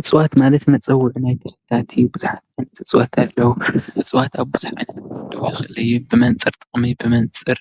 እፅዋት ማለት መፀውዒ ናይ ተኽልታት እዩ፡፡ ብዙሓት ዓይነት እፅዋት ኣለው፡፡ እፅዋት ብብዙሕ ክምደቡ ይኽእሉ እዮም፡፡ ብመንፅር ጥቕሚ ብመንፅር